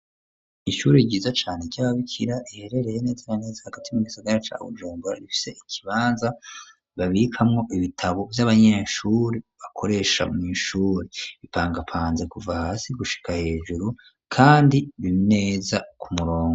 Ishuri ryiza cane ryababikira riherereye neza neza hagati mu gisagara ca Bujumbura rifise ikibanza babikamwo ibitabo vy'abanyeshure bakoresha mu ishure bipangapanze kuva hasi gushika hejuru kandi neza kumurongo.